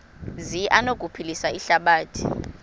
zi anokuphilisa ihlabathi